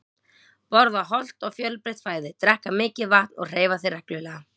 Borða hollt og fjölbreytt fæði, drekka mikið vatn og hreyfa þig reglulega.